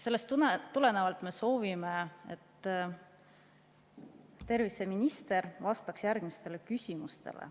Sellest tulenevalt me soovime, et terviseminister vastaks järgmistele küsimustele.